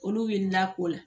Olu wulil'a ko la.